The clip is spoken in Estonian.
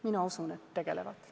Mina usun, et tegelevad.